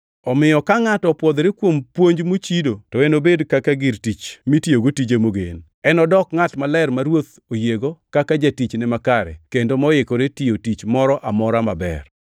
Omiyo ka ngʼato opwodhore kuom puonj mochido to enobed kaka gir tich mitiyogo tije mogen. Enodok ngʼat maler ma Ruoth oyiego kaka jatichne makare kendo moikore tiyo tich moro amora maber.